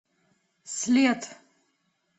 след